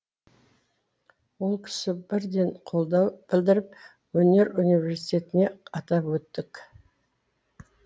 ол кісі бірден қолдау білдіріп өнер университетінде атап өттік